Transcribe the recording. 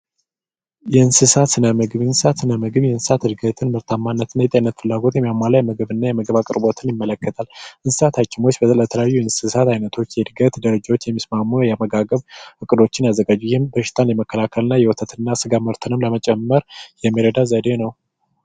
የእንስሳ ስነ ምግብ የእንስሳት ስነ ምግብ የእንስሳት እድገትን ጤንነትንና የስጋ ምርትን ይመለከታል። የተለያዩ የእንስሳት አይነቶችን የእድገት ሁኔታ ሁኔታ የሚስማሙ አመጋገብ ስልቶችን የሚያዘጋጅ ነው ወይም በሽታ ለመከላከልና የወተት እና የስጋ ምርት ለመጨመር የሚረዳ ዘዴ ነው።